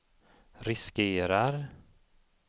riskerar